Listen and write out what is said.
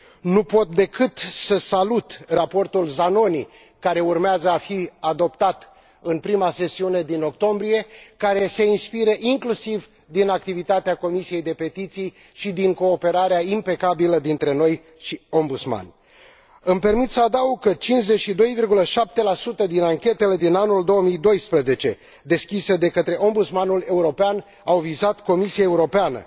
Nu pot decăt să salut Raportul Zanoni, care urmează a fi adoptat în prima sesiune din octombrie și care se inspiră inclusiv din activitarea Comisiei pentru petiții și din cooperarea impecabilă dintre noi și Ombudsman. Îmi permit să adaug că 52,7 din anchetele din anul 2012 deschise de către Ombudsmanul European au vizat Comisia Europeană